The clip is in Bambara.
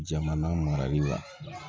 Jamana marali la